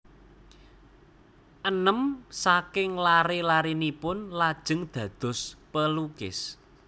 Enem saking laré larénipun lajeng dados pelukis